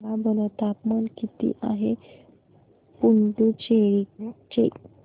सांगा बरं तापमान किती आहे पुडुचेरी चे